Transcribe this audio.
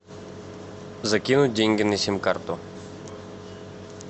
закинуть деньги на сим карту